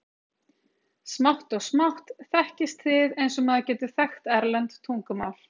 Smátt og smátt þekkist þið eins og maður getur þekkt erlent tungumál.